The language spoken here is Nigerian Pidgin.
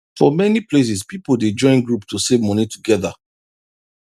for many places people dey join group to save money together